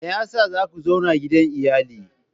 Me yasa za ku zauna gidan iyali?